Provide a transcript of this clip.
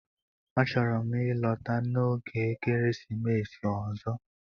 A chọrọ m ịlọta n'oge ekeresimesi ọzọ